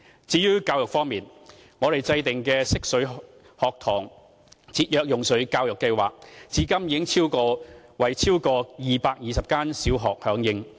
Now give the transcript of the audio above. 至於教育方面，我們制訂的"惜水學堂"節約用水教育計劃，至今已有超過220間小學參與。